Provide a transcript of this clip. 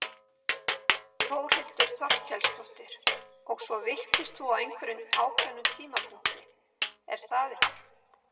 Þórhildur Þorkelsdóttir: Og svo villtist þú á einhverjum ákveðnum tímapunkti er það ekki?